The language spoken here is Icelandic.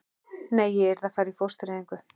Nei, ég yrði að fara í fóstureyðingu.